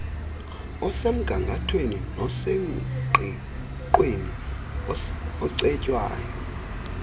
osemgangathweni nosengqiqweni ocetywayo